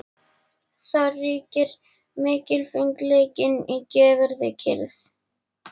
Þar ríkir mikilfengleikinn í göfugri kyrrð.